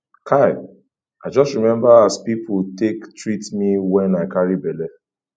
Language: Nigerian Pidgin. kai i just remember as pipu take treat me wen i carry belle